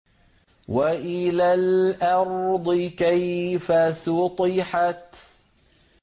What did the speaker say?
وَإِلَى الْأَرْضِ كَيْفَ سُطِحَتْ